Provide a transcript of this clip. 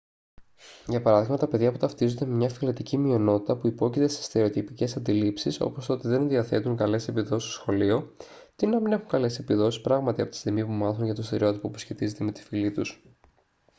για παράδειγμα τα παιδιά που ταυτίζονται με μια φυλετική μειονότητα που υπόκειται σε στερεοτυπικές αντιλήψεις όπως το ότι δεν διαθέτουν καλές επιδόσεις στο σχολείο τείνουν να μην έχουν καλές επιδόσεις πράγματι από τη στιγμή που μάθουν για το στερεότυπο που σχετίζεται με τη φυλή τους